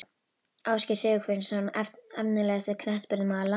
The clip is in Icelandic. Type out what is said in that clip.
Ásgeir Sigurvinsson Efnilegasti knattspyrnumaður landsins?